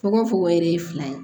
Fogo fogo yɛrɛ ye fila ye